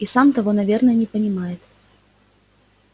и сам того наверное не понимает